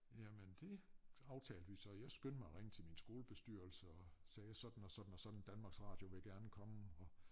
Jamen dét aftalte vi så jeg skyndte mig at ringe til min skolebestyrelse og sagde sådan og sådan og sådan Danmarks Radio vil gerne komme og